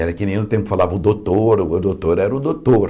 Era que nem no tempo falavam o doutor, o doutor era o doutor.